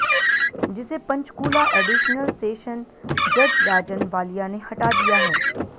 जिसे Panchkula additional session जज राजन वालिया ने हटा दिया है